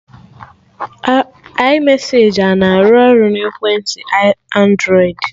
iMesaji ana arụ ọrụ na ekwentị Andrọịd?